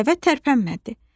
Dəvə tərpənmədi.